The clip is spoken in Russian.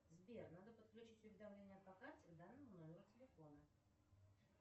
сбер надо подключить уведомление по карте к данному номеру телефона